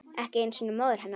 Ekki einu sinni móður hennar.